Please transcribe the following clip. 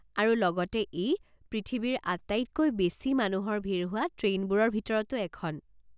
আৰু লগতে ই পৃথিৱীৰ আটাইতকৈ বেছি মানুহৰ ভিৰ হোৱা ট্ৰেইনবোৰৰ ভিতৰতো এখন।